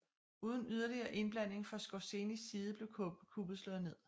Uden yderligere indblanding fra Skorzenys side blev kuppet slået ned